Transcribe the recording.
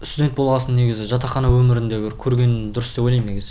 студент болғасын негізі жатақхана өмірін де бір көрген дұрыс деп ойлайм негізі